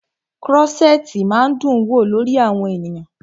Krọ́ṣẹ̀tì máa ń dún wò lórí àwọn ènìyàn.